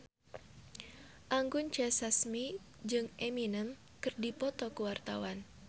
Anggun C. Sasmi jeung Eminem keur dipoto ku wartawan